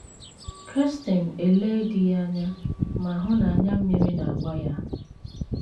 Kirsten elee di ya anya ma hụ na anya mmiri na - agba ya.